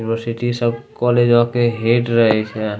यूनिवर्सिटी सब कॉलेजो के हेड रहे छे।